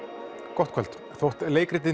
gott kvöld þótt leikritið